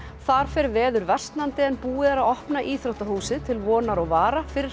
þar fer veður versnandi en búið er að opna íþróttahúsið til vonar og vara fyrir